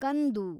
ಕಂದು